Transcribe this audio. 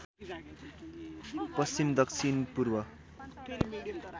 पश्चिम दक्षिण पूर्व